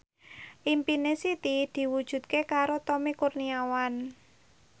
impine Siti diwujudke karo Tommy Kurniawan